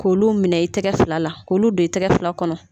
K'olu minɛ i tɛgɛ fila la k'olu don i tɛgɛ fila kɔnɔ.